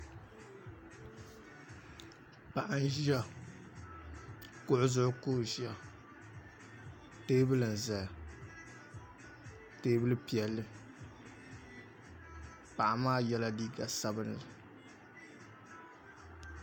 Paɣa n ʒiya kuɣu zuɣu ka o ʒiya teebuli n ʒɛya teebuli piɛlli paɣa maa yɛla liiga sabinli